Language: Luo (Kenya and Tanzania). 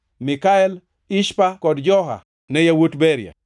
Mikael, Ishpa kod Joha ne yawuot Beria.